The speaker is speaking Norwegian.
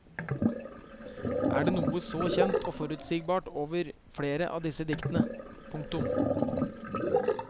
Det er noe så kjent og forutsigbart over flere av disse diktene. punktum